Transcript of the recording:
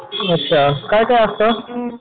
अच्छा काय काय असतं?